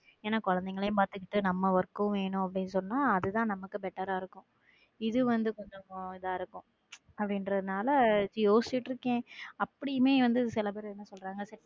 ஏன்னா என குழந்தைகளையும் பார்த்துக்கிட்டு நம்ம work வேணும்னு சொன்னா அதுதான் நமக்கும் better ஆ இருக்கும் இது வந்து கொஞ்சம் தான் இருக்கும் அப்படிங்கறது நாள யோசிச்சிட்டு இருக்கேன் அப்படின்னு சில பேர் என்ன சொல்றாங்க.